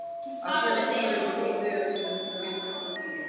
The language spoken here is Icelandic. Að sýna hvort öðru blíðu er að sýna mikla vinsemd og hlýju.